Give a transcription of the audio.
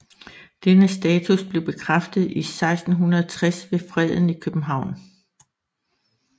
Denne status blev bekræftet i 1660 ved Freden i København